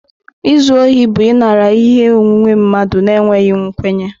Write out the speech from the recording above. Izu ohi bụ ịnara ihe onwunwe mmadụ n'enweghị nkwenye.